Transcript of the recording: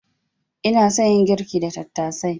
Ina son yin girki da tattasai.